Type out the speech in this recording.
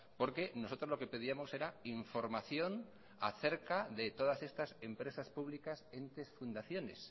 porque nosotros lo que pedíamos era información acerca de todas estas empresas públicas entes fundaciones